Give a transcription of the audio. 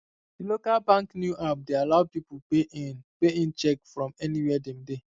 di local bank new app dey allow people pay in pay in cheque from anywhere dem dey